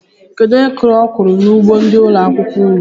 Kedụ onye kụrụ okwuru n'ugbo ndị ụlọ akwụkwọ unu?